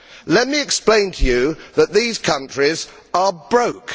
Let me explain to you that these countries are broke.